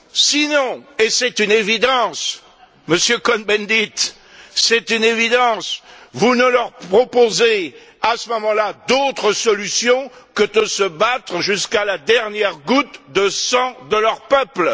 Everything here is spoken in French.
Sinon et c'est une évidence, Monsieur Cohn Bendit vous ne leur proposez, à ce moment là, d'autre solution que de se battre jusqu'à la dernière goutte de sang de leur peuple.